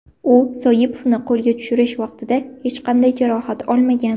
U Soipovni qo‘lga tushirish vaqtida hech qanday jarohat olmagan.